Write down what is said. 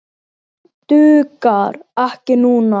Dugar ekki núna.